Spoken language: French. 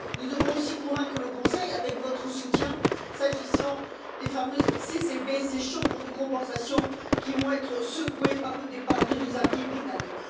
Nous devons aussi convaincre le Conseil, avec votre soutien, quant aux fameuses CCP, ces chambres de compensation qui vont être secouées par le départ de nos amis britanniques.